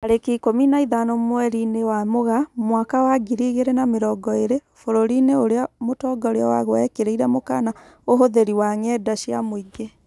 Tarĩki ikũmi na ithano mweri-inĩ wa Mũgaa mwaka wa ngiri igĩrĩ na mĩrongo ĩrĩ, bũrũri-inĩ ũrĩa mũtongoria waguo ekĩrĩrĩre mũkana ũhũthĩri wa ng'enda cia muingĩ